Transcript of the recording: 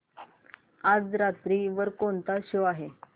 आज रात्री वर कोणता शो आहे